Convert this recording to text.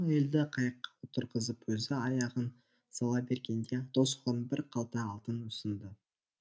әйелді қайыққа отырғызып өзі аяғын сала бергенде досы оған бір қалта алтын ұсынды